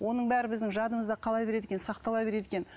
оның бәрі біздің жадымызда қала береді екен сақтала береді екен